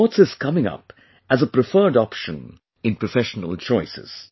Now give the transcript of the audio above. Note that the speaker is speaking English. Sports is coming up as a preferred choice in professional choices